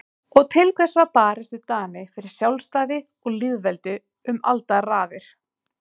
Og til hvers var barist við Dani fyrir sjálfstæði og lýðveldi um aldaraðir?